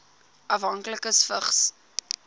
afhanklikes vigs